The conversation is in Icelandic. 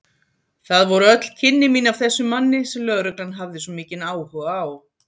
Það voru öll kynni mín af þessum manni sem lögreglan hafði svo mikinn áhuga á.